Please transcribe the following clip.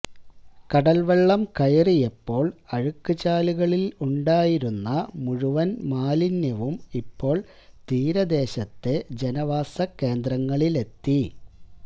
കടല്വെള്ളം കയറിയപ്പോള് അഴുക്കുചാലുകളില് ഉണ്ടായിരുന്ന മുഴുവന് മാലിന്യവും ഇപ്പോള് തീരദേശത്തെ ജനവാസകേന്ദ്രങ്ങളിലെത്തി